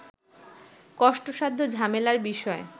কষ্টসাধ্য ও ঝামেলার বিষয়